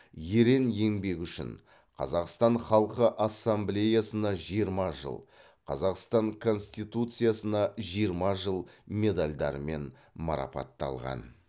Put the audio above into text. ерен еңбегі үшін қазақстан халқы ассамблеясына жиырма жыл қазақстан конституциясына жиырма жыл медальдарымен марапатталған